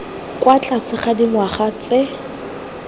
kwa tlase ga dingwaga tse